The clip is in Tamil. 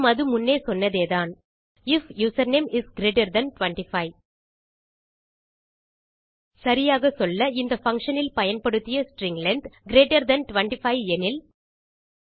மேலும் அது முன்னே சொன்னதேதான் if username is greater than 25 சரியாகச்சொல்ல இந்த பங்ஷன் இல் பயன்படுத்திய ஸ்ட்ரிங் லெங்த் கிரீட்டர் தன் 25 எனில்